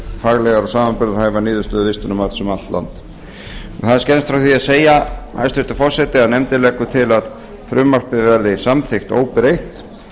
faglegar og samanburðarhæfar niðurstöður vistunarmats um allt land það er skemmst frá því að segja hæstvirtur forseti að nefndin leggur til að frumvarpið verði samþykkt óbreytt